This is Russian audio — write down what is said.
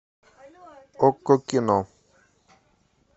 окко кино